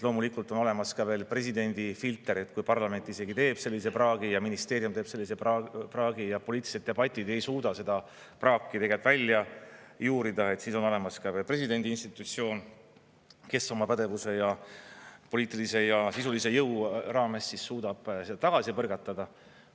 Loomulikult on olemas ka veel presidendi filter, et kui parlament isegi teeb sellise praagi ja ministeerium teeb sellise praagi ja poliitilised debatid ei suuda seda praaki tegelikult välja juurida, et siis on olemas ka presidendi institutsioon, kes oma pädevuse ja poliitilise ja sisulise jõu raames suudab seda tagasi põrgatada.